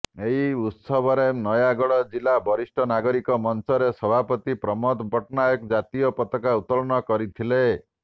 ଏହି ଉତ୍ସବରେ ନୟାଗଡ଼ ଜିଲ୍ଲା ବରିଷ୍ଠ ନାଗରିକ ମଂଚର ସଭାପତି ପ୍ରମୋଦ ପଟ୍ଟନାୟକ ଜାତୀୟ ପତାକା ଉତ୍ତୋଳନ କରିଥିଲେ